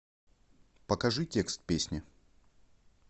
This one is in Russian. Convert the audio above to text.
покажи текст песни